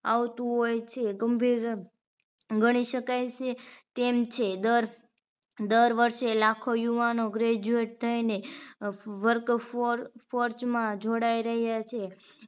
આવતું હોય છે ગંભીર ગણી શકાય છે તેમ છે દર દર વર્ષે લાખો યુવાનો graduate થઈને work for force માં જોડાઈ રહ્યા છે